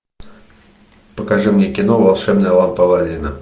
покажи мне кино волшебная лампа алладина